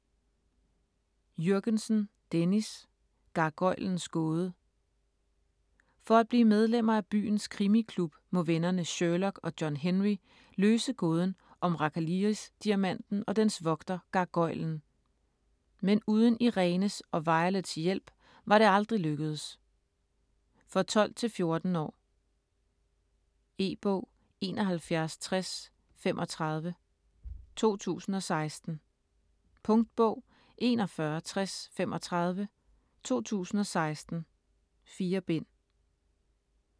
Jürgensen, Dennis: Gargoylens gåde For at blive medlemmer af byens krimiklub, må vennerne Sherlock og John-Henry løse gåden om Rakaliris-Diamanten og dens vogter Gargoylen. Men uden Irenes og Violets hjælp var det aldrig lykkedes! For 12-14 år. E-bog 716035 2016. Punktbog 416035 2016. 4 bind.